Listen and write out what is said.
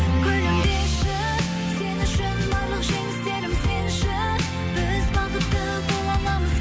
күлімдеші сен үшін барлық жеңістерім сенші біз бақытты бола аламыз